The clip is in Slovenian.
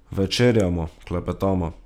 Večerjamo, klepetamo.